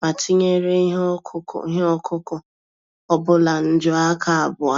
ma tinyere ihe ọkụkụ ihe ọkụkụ ọbula nju-aka abụọ.